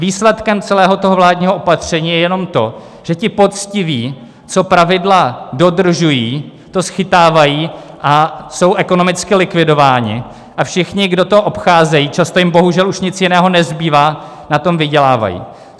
Výsledkem celého toho vládního opatření je jenom to, že ti poctiví, co pravidla dodržují, to schytávají a jsou ekonomicky likvidováni a všichni, kdo to obcházejí, často jim bohužel už nic jiného nezbývá, na tom vydělávají.